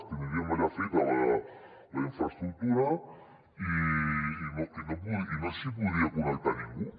tindríem allà feta la infraestructura i no s’hi podria connectar ningú